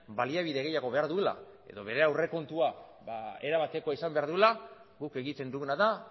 baliabide gehiago behar duela edo bere aurrekontua era batekoa izan behar duela guk egiten duguna da